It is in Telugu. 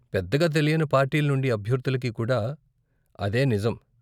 పెద్దగా తెలియని పార్టీలనుండి అభ్యర్దులకి కూడా అదే నిజం.